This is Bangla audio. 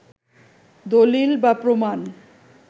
দলিল বা প্রমাণ